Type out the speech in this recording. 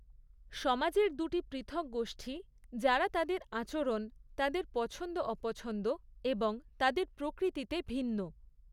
সমাজের দুটি পৃথক গোষ্ঠী, যারা তাদের আচরণ তাদের পছন্দ অপছন্দ এবং তাদের প্রকৃতিতে ভিন্ন।